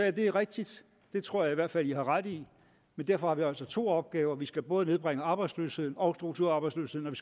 at det er rigtigt det tror jeg i hvert fald i har ret i men derfor har vi altså to opgaver vi skal både nedbringe arbejdsløsheden og strukturarbejdsløsheden